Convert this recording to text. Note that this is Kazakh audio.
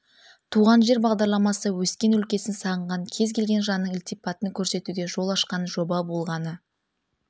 туған жер бағдарламасы өскен өлкесін сағынған кез келген жанның ілтипатын көрсетуге жол ашқан жоба болғаны